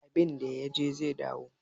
Abinda ya je zai dawo